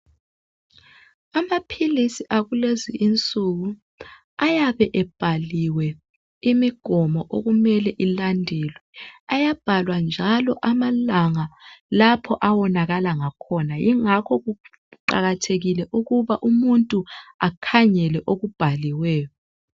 Amaphilisi akulezi insuku ayabe ebhaliwe imigomo okumele ilandelwe ayabhalwa njalo amalanga lapho awonakala ngakhona yingakho kuqakathekile ukuba umuntu akhangele okubhaliweyo